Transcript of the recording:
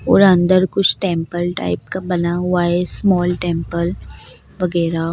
और अंदर कुछ टेम्पल टाइप का बना हुआ है स्मॉल टेम्पल वगैरह।